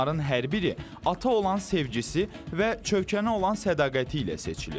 Onların hər biri ata olan sevgisi və Çövkənə olan sədaqəti ilə seçilir.